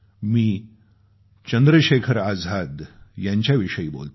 मी चंद्रशेखर आजाद यांच्याविषयी बोलतोय